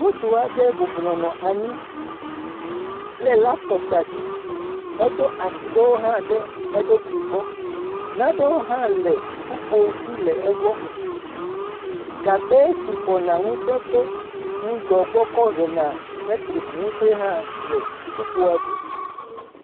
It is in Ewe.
Ŋutrsu aɖe bublɔnɔ anyi le laptopu ɖe asi. Eɖo asi ɖewo hã ɖe eɖokui gbɔ. Naɖewo hã le kpukpo dzi le egbɔ. Gagbɛ si xɔna ŋusẽ tso ŋudɔ gbɔ kɔ hena letriki ŋusẽ hã le kpukpoe dzi.